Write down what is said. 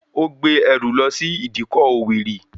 Ó gbé ẹrù lọ sí ìdíkọ̀ òwèrì